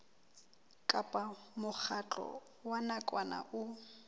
kapa mokgatlo wa nakwana o